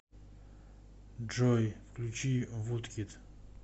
джой включи вудкид